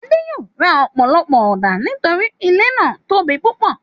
Adé yòó ra ọ̀pọ̀lọpọ̀ ọ̀dà torípé ilé náà tóbi púpọ̀.